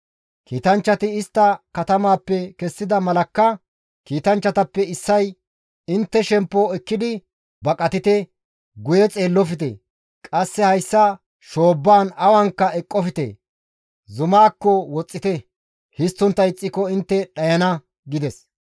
Kiitanchchati istta katamaappe kessida malakka kiitanchchatappe issay, «Intte shemppo ekkidi baqatite! Guye xeellofte! Qasse hayssa shoobbaan awanka eqqofte! Zumaakko woxxite! Histtontta ixxiko intte dhayana» gides.